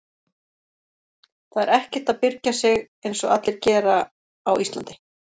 Það er ekkert að byrgja sig einsog allir gera á Íslandi.